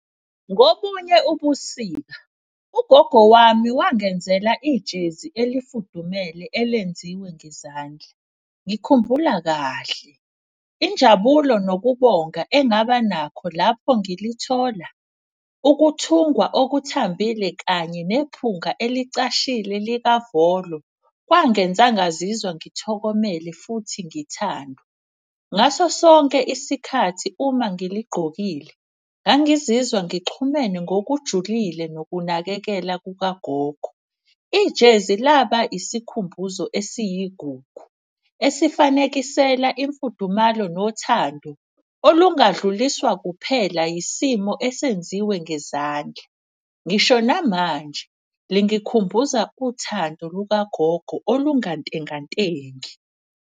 Ngobunye ubusika, ugogo wami wangenzela ijezi elifudumele elenziwe ngezandla. Ngikhumbula kahle injabulo nokubonga engaba nakho lapho ngilithola, ukuthungwa okuthambile kanye nephunga elicashile likavolo. Kwangenza ngazizwa ngithokomele futhi ngithandwa. Ngaso sonke isikhathi uma ngiligqokile ngangizizwa ngixhumene ngokujulile ngokunakekela kukagogo. Ijezi laba isikhumbuzo esiyigugu, esifanekisela imfudumalo nothando olungadluliswa kuphela isimo esenziwe ngezandla. Ngisho namanje lingikhumbuza uthando lukagogo olungantengantengi.